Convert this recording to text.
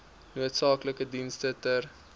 noodsaaklike dienste ter